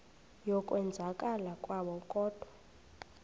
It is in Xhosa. yokwenzakala kwabo kodwa